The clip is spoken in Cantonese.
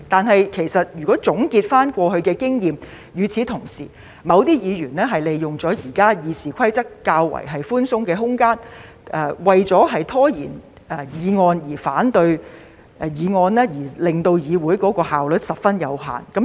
可是，總結過去經驗，某些議員是利用了現時《議事規則》較寬鬆的空間，為了拖延議案、反對議案，令議會的效率受到限制。